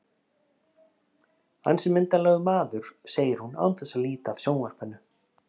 Ansi myndarlegur maður, segir hún án þess að líta af sjónvarpinu.